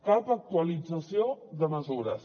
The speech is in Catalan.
cap actualització de mesures